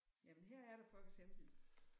Jamen her er der for eksempel